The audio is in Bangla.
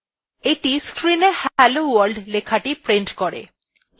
এইটি screenএ hello world লেখাটি prints করে